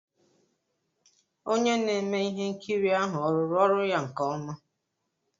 Onye na-eme ihe nkiri ahụ ọ rụrụ ọrụ ya nke ọma?